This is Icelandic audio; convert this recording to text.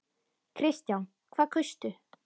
Kristján: Hvað kaustu?